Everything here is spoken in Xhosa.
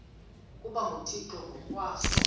ukuba nguthixo ngokwaso